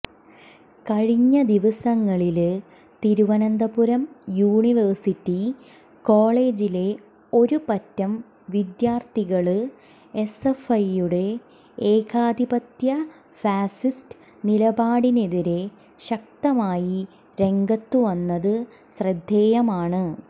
കഴിഞ്ഞ ദിവസങ്ങളില് തിരുവനന്തപുരം യൂണിവേഴ്സിറ്റി കോളേജിലെ ഒരുപറ്റം വിദ്യാര്ത്ഥികള് എസ്എഫ്ഐയുടെ ഏകാധിപത്യ ഫാസിസ്റ്റ് നിലപാടിനെതിരെ ശക്തമായി രംഗത്തുവന്നത് ശ്രദ്ധേയമാണ്